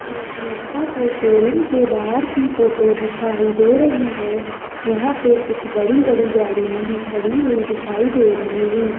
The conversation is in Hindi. एक नेक्सा के शोरूम के बाहर की फोटो दिखाई दे रही है यहां पे कुछ बड़ी बड़ी गाड़ियां भी खड़ी हुई दिखाई दे रही है।